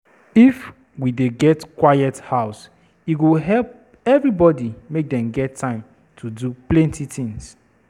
If we dey get quiet house, e go fit help everybody make dem get time for do plenty things.